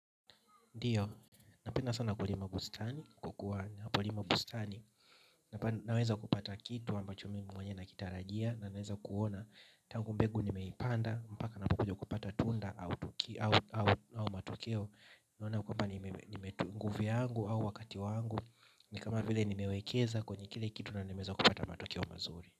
Ndiyo, napenda sana kulima bustani kwa kuwa kulima bustani, naweza kupata kitu ambacho mimi mwenyewe nakitarajia na naweza kuona, tangu mbegu nimeipanda, mpaka napopata tunda au matokeo naona kwamba nimetumia nguvu yangu au wakati wangu. Ni kama vile nimewekeza kwenye kile kitu na nimeweza kupata matokeo mazuri.